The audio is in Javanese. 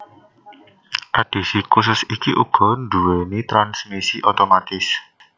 Edhisi khusus iki uga nduwéni transmisi otomatis